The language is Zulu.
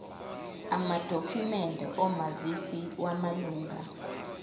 amadokhumende omazisi wamalunga